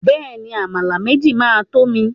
Bẹ́ẹ̀ni, Àmàlà méjì máa to mi.